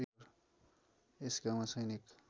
यस गाउँमा सैनिक